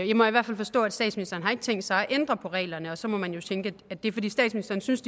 jeg må i hvert fald forstå at statsministeren ikke har tænkt sig at ændre på reglerne og så må man jo tænke at det er fordi statsministeren synes